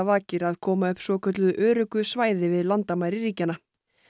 vakir að koma upp svokölluðu öruggu svæði við landamæri ríkjanna